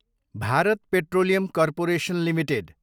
Bharat Petroleum Corporation Ltd